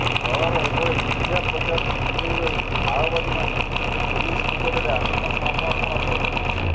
ଦଳର ଏଭଳି ମିଥ୍ୟା ପ୍ରଚାରରୁ ଦୂରେଇ ରହି ମାଓବାଦୀମାନେ ପୁଲିସ ନିକଟରେ ଆତ୍ମସମର୍ପଣ କରନ୍ତୁ